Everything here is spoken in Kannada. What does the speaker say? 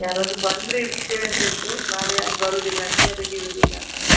ಯಾರದ್ರು ಬಂದ್ರೆ ಇಡ್ತೀವ್ ಅಂತ ಹೇಳ್ತೀನಿ. ನಾಳೆ ಯಾರ್ ಬರೋದಿಲ್ಲ ಅಂತೆ ಅದಕ್ಕೆ ಇಡೂದಿಲ್ಲ ಅನ್ನ.